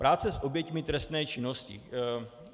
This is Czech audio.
Práce s oběťmi trestné činnosti.